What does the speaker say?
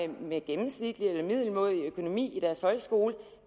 med gennemsnitlig eller middelmådig økonomi i deres folkeskole